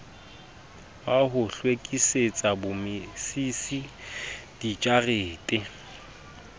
wa ho hlwekisetsa bommisisi dijarete